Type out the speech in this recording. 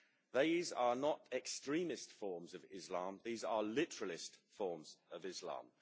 These are not extremist forms of Islam these are literalist forms of Islam.